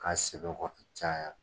K'a sɛbɛkɔrɔ caya